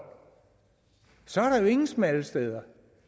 er der jo ingen smalle steder